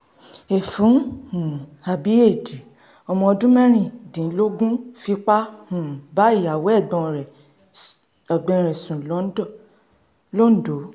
ẹfun um àbí éèdì ọmọ ọdún mẹ́rìndínlógún fipá um bá ìyàwó ẹ̀gbọ́n rẹ̀ ẹ̀gbọ́n rẹ̀ sùn london lon do